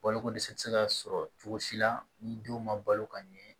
Balokodɛsɛ tɛ se ka sɔrɔ cogo si la ni denw ma balo ka ɲɛ